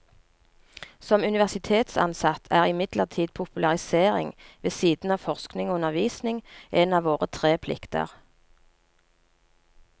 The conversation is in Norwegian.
Som universitetsansatt er imidlertid popularisering, ved siden av forskning og undervisning, en av våre tre plikter.